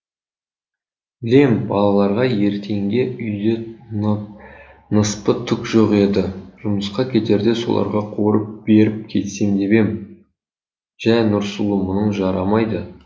білем балаларға ертеңге үйде ныспы түк жоқ еді жұмысқа кетерде соларға қуырып беріп кетсем деп ем жә нұрсұлу мұның жарамайды